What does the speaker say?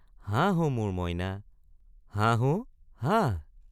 হাঁহ অ মোৰ মইনা হাঁহ অ হাঁহ।